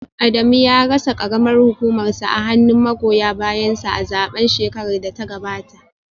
Adamu ya rasa karamar hukumarsa a hannun magoya bayansa a zaben shekarar da ta gabata